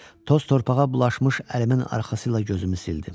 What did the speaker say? Toz torpağa bulaşmış əlimin arxası ilə gözümü sildim.